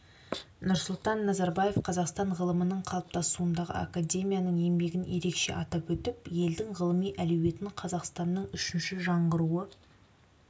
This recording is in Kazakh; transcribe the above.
нұрсұлтан назарбаев қазақстан ғылымының қалыптасуындағы академияның еңбегін ерекше атап өтіп елдің ғылыми әлеуетін қазақстанның үшінші жаңғыруы